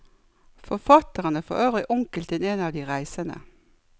Forfatteren er forøvrig onkel til en av de reisende.